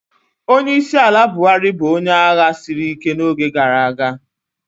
Onyeisiala Buhari bụ onye agha siri ike n'oge gara aga.